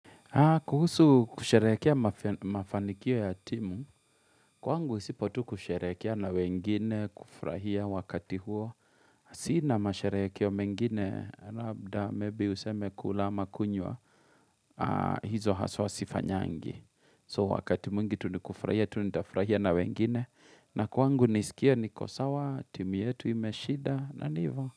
Kuhusu kusherehekea mafanikio ya timu, kwangu isipo tu kusharehekea na wengine, kufurahia wakati huo. Sina masherehekeo mengine, labda maybe useme kula ama kunywa, hizo haswa sifanyangi. So wakati mwingi tunikufurahia, tunitafurahia na wengine. Na kwangu nisikie niko sawa, timu yetu imeshida, na nivo.